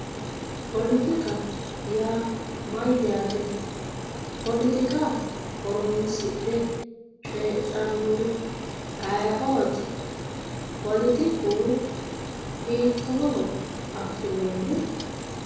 Poletikka yaa mayyate, poletikka horonsi'ne coyidhanori ayiioti, poletikku hiittoho affi'nonni ?